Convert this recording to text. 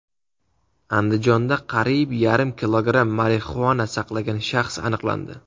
Andijonda qariyb yarim kilogramm marixuana saqlagan shaxs aniqlandi.